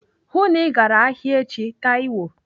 Hụụ na Ị gara ahịa echi, Taiwo.